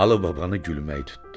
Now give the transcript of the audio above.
Alı babanı gülmək tutdu.